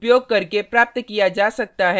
इसे unshift function का उपयोग